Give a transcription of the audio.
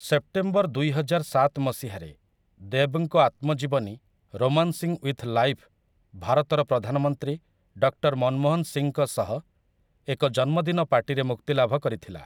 September ଦୁଇହଜାରସାତ ମସିହାରେ, ଦେବ୍‌ଙ୍କ ଆତ୍ମଜୀବନୀ 'ରୋମାନ୍ସିଂ ୱିଥ୍ ଲାଇଫ୍' ଭାରତର ପ୍ରଧାନମନ୍ତ୍ରୀ ଡକ୍ଟର୍ ମନମୋହନ୍ ସିଂଙ୍କ ସହ ଏକ ଜନ୍ମଦିନ ପାର୍ଟିରେ ମୁକ୍ତିଲାଭ କରିଥିଲା ।